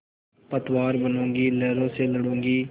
पतवार बनूँगी लहरों से लडूँगी